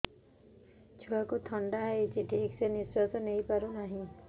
ଛୁଆକୁ ଥଣ୍ଡା ହେଇଛି ଠିକ ସେ ନିଶ୍ୱାସ ନେଇ ପାରୁ ନାହିଁ